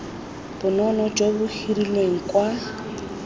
bonno jo bo hirilweng kwa